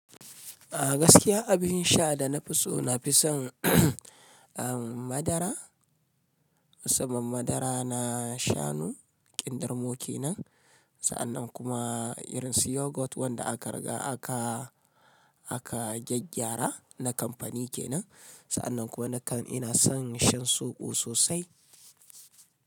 A gaskiya abin sha da na fi so, na fi son madara, musamman madara na shanu, kindirmo ke nan. Sa'annan kuma irin su yogourt wanda aka riga aka, aka gyaggyara na kamfani ke nan. Sa'anan na kan ina son shan zobo sosai.